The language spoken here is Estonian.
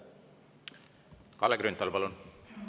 Kalle Grünthal, palun!